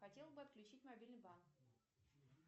хотела бы отключить мобильный банк